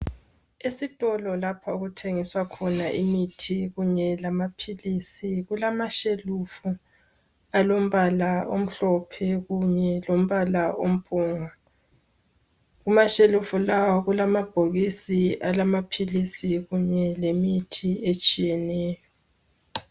Esitolo lapha okuthengiswa khona imithi kunye lamaphilisi. Kulamashelufa alombala omhlophe kunye lombala ompungu. Kuma shelufu lawa kulamabhokisi alamaphilisi kunye lemithi etshiyeneyo.